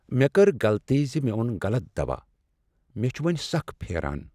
مےٚ کٔر غلطی ز مےٚ اوٚن غلط دوا، مےٚ چھ وۄنۍسخ پھیران۔